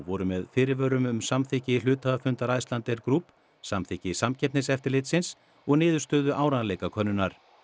voru með fyrirvörum um samþykki hluthafafundar Icelandair Group samþykki Samkeppniseftirlitsins og niðurstöðu áreiðanleikakönnunar